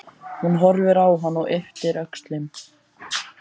Hún horfir á hann og ypptir öxlum.